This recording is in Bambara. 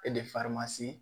E de fari ma se